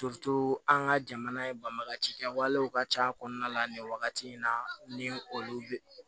an ka jamana banbaga ci kɛwalew ka ca kɔnɔna la nin wagati in na ni olu be